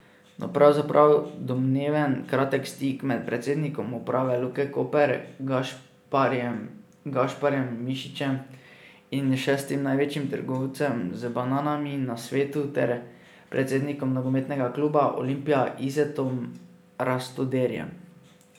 No, pravzaprav domneven kratek stik med predsednikom uprave Luke Koper Gašparjem Gašparjem Mišičem in šestim največjim trgovcem z bananami na svetu ter predsednikom nogometnega kluba Olimpija Izetom Rastoderjem.